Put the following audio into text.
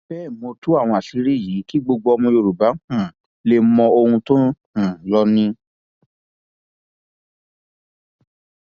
bẹẹ mo tú àwọn àṣírí yìí kí gbogbo ọmọ yorùbá um lè mọ ohun tó ń lọ um ni